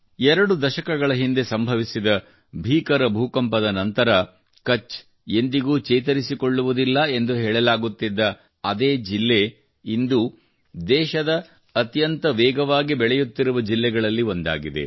ಎರಡು ದಶಕಗಳ ಹಿಂದೆ ಸಂಭವಿಸಿದ ಭೀಕರ ಭೂಕಂಪದ ನಂತರ ಕಛ್ ಎಂದಿಗೂ ಚೇತರಿಸಿಕೊಳ್ಳುವುದಿಲ್ಲ ಎಂದು ಹೇಳಲಾಗುತ್ತಿದ್ದ ಅದೇ ಜಿಲ್ಲೆ ಇಂದು ದೇಶದ ಅತ್ಯಂತ ವೇಗವಾಗಿ ಬೆಳೆಯುತ್ತಿರುವ ಜಿಲ್ಲೆಗಳಲ್ಲಿ ಒಂದಾಗಿದೆ